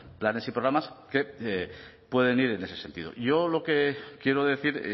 planes y programas que pueden ir en ese sentido yo lo que quiero decir